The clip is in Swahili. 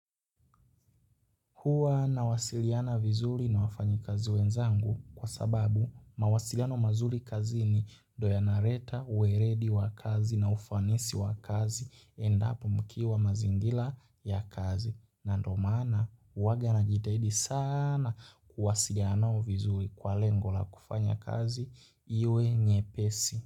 Huwa nawasiliana vizuri na wafanyakazi wenzangu kwasababu mawasiliano mazuri kazini ndiyo yanaleta uweledi wa kazi na ufanisi wa kazi endapo mkiwa mazingira ya kazi. Na ndio maana huwa najitahidi sana kuwasiliana vizuri kwa lengo la kufanya kazi iwe nyepesi.